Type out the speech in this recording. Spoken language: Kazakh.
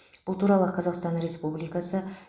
бұл туралы қазақстан республикасы